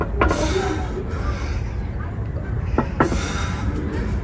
আমার লোভ লাগছে পুরোটা শোন ~ পুরোটা শোন।